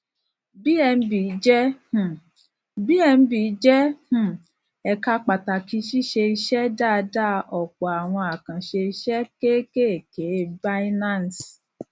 bnb jẹ um bnb jẹ um ẹka pàtàkì ṣíṣe iṣẹ dáadáa ọpọ àwọn àkànṣe iṣẹ kéékèèké binance